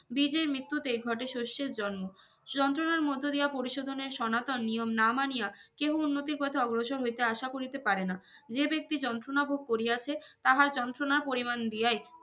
বিজের মৃত্যুতে ঘটে সর্ষের জন্ম যন্ত্রণার মধ্যে দিয়া পরিশোধনের সনাতন নিয়ম না মানিয়া কেউ উন্নতির পথে অগ্রসর হইতে আশা করিতে পারে না যে ব্যক্তি যন্ত্রণা ভোগ করিয়াছে তাহার যন্ত্রণা পরিমান দিয়াই